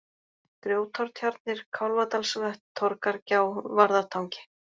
Grjótártjarnir, Kálfadalsvötn, Torgargjá, Varðartangi